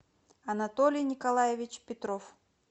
анатолий николаевич петров